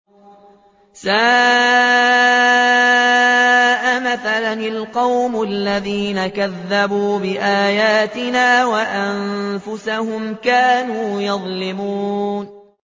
سَاءَ مَثَلًا الْقَوْمُ الَّذِينَ كَذَّبُوا بِآيَاتِنَا وَأَنفُسَهُمْ كَانُوا يَظْلِمُونَ